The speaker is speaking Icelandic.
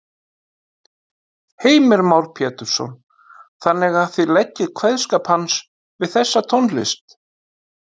Heimir Már Pétursson: Þannig að þið leggið kveðskap hans við þessa tónlist?